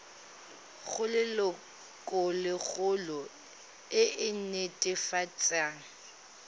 go lelokolegolo e e netefatsang